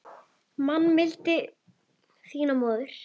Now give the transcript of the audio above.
Man mildi þína móðirin hlýja.